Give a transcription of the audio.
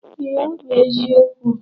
Ee, ọ bụ eziokwu.